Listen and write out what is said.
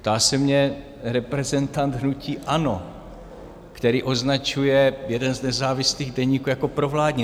Ptá se mě reprezentant hnutí ANO, který označuje jeden z nezávislých deníků jako provládní.